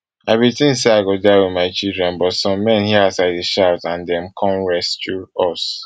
i bin tink say i go die wit my children but some men hear as i dey shout and dem come rescue us